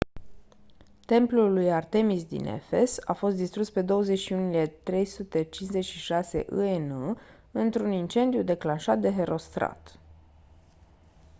templul lui artemis din efes a fost distrus pe 21 iulie 356 î.e.n. într-un incendiu declanșat de herostrat